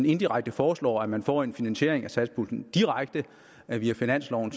indirekte foreslår at man får en finansiering af satspuljen direkte via finansloven